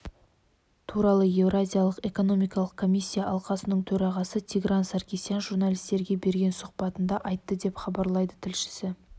туралы еуразиялық экономикалық комиссия алқасының төрағасы тигран саркисян журналистерге берген сұхбатында айтты деп хабарлайды тілшісі